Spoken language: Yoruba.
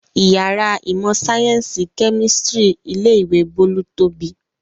Ìyàrá ìmọ̀-sáyẹ́ńsì kẹ́mísítírì ilé-ìwé Bólú tóbi.